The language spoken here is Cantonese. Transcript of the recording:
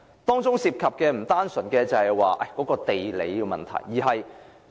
當中涉及的不單是地理位置的問題。